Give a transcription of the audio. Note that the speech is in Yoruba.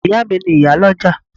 Ìyá à mi ni ìyálọ́jà